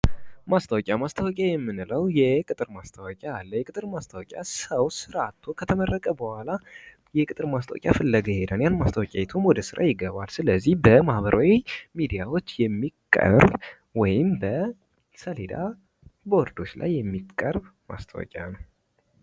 ማስታወቂያ:- ማስታወቂያ የምንለው የቅጥር ማስታወቂያ አለ። የቅጥር ማስታወቂያ ሠው ስራ አቶ ከተመረቀ በኋላ የቅጥር ማስታወቂያ ፍለጋ ይሄዳል። ማስታወቂያም አይቶ ወደ ስራ ይገባል ስለዚህ በማህበራዊ ሚዲያዎች የሚቀርብ ወይም በሴሌዳ ቦርዶች ላይ የሚቀርብ ማስታወቂያ ነው።